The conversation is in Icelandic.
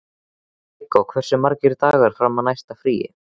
Viggó, hversu margir dagar fram að næsta fríi?